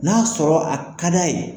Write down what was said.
N'a sɔrɔ a ka d'a ye.